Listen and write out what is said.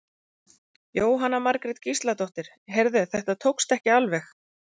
Jóhanna Margrét Gísladóttir: Heyrðu þetta tókst ekki alveg?